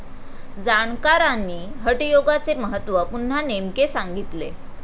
जाणकारांनी हटयोगाचे महत्व पुन्हा नेमके सांगितले.